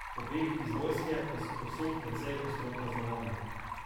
Pobegi iz vojske pa so povsod precej ostro kaznovani.